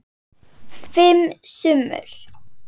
Fimm sumur